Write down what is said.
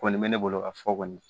Kɔni bɛ ne bolo ka fɔ kɔni